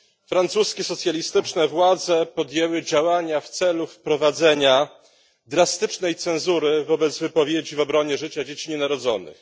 Francuskie socjalistyczne władze podjęły działania w celu wprowadzenia drastycznej cenzury wobec wypowiedzi w obronie życia dzieci nienarodzonych.